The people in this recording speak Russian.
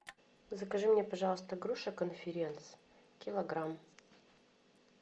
закажи мне пожалуйста груши конференц килограмм